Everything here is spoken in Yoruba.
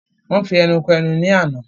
Wọn fi ẹnu ko ẹnu ní àna